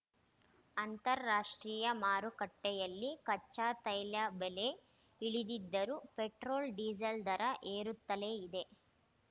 ಅಂತಾರಾಷ್ಟ್ರೀಯ ಮಾರುಕಟ್ಟೆಯಲ್ಲಿ ಕಚ್ಚಾತೈಲ ಬೆಲೆ ಇಳಿದಿದ್ದರೂ ಪೆಟ್ರೋಲ್‌ ಡಿಸೇಲ್‌ ದರ ಏರುತ್ತಲೆ ಇದೆ